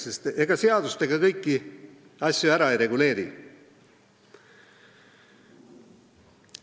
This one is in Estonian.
Sest ega seadustega kõiki asju ära ei reguleeri.